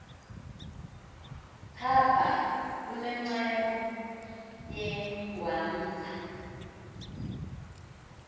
phapha lunenceba yengwamza